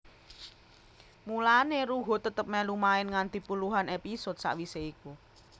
Mulané Ruhut tetep melu main nganti puluhan episode sawisé iku